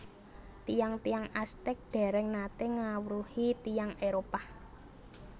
Tiyang tiyang Aztec dèrèng naté ngawruhi tiyang Éropah